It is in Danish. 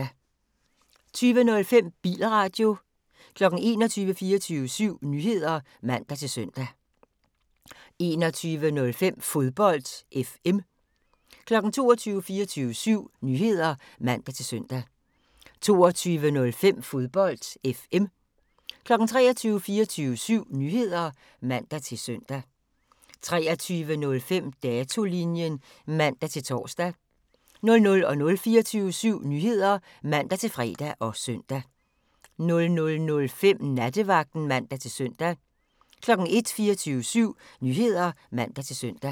20:05: Bilradio 21:00: 24syv Nyheder (man-søn) 21:05: Fodbold FM 22:00: 24syv Nyheder (man-søn) 22:05: Fodbold FM 23:00: 24syv Nyheder (man-søn) 23:05: Datolinjen (man-tor) 00:00: 24syv Nyheder (man-fre og søn) 00:05: Nattevagten (man-søn) 01:00: 24syv Nyheder (man-søn)